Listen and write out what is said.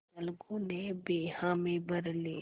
अलगू ने भी हामी भर ली